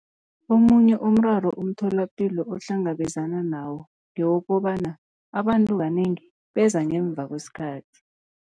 Omunye umraro umtholapilo ohlangabezana nawo ngewokobana abantu kanengi beza ngemva kwesikhathi.